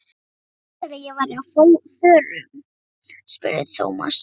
Hvernig vissirðu að ég væri á förum? spurði Thomas.